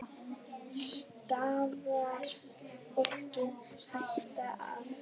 Stafar fólki hætta af þessu?